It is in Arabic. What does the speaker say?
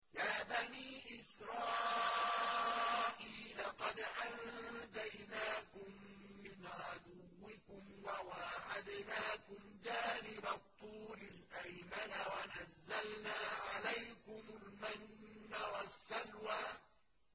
يَا بَنِي إِسْرَائِيلَ قَدْ أَنجَيْنَاكُم مِّنْ عَدُوِّكُمْ وَوَاعَدْنَاكُمْ جَانِبَ الطُّورِ الْأَيْمَنَ وَنَزَّلْنَا عَلَيْكُمُ الْمَنَّ وَالسَّلْوَىٰ